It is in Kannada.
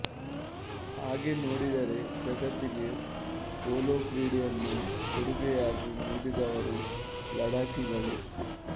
ಹಾಗೆ ನೋಡಿದರೆ ಜಗತ್ತಿಗೆ ಪೋಲೋ ಕ್ರೀಡೆಯನ್ನು ಕೊಡುಗೆಯಾಗಿ ನೀಡಿದವರು ಲಡಾಖಿಗಳು